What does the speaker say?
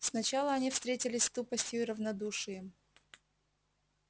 сначала они встретились с тупостью и равнодушием